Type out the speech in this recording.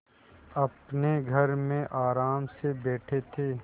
अपने घर में आराम से बैठे थे